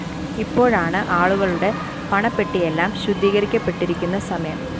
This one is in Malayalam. ഇപ്പോഴാണ് ആളുകളുടെ പണപ്പെട്ടിയെല്ലാം ശുദ്ധീകരിക്കപ്പെട്ടിരിക്കുന്ന സമയം